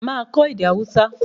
Màá kọ́ èdè Haúsá